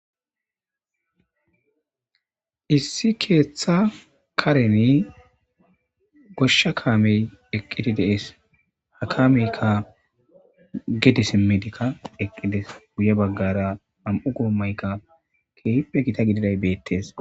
issi keeththa kareni goshsha kaamey eqqidi dees ha kaameykka gede simmidikka eqqides guye baggara nam7u goommaykka keehipe gita gididay beettes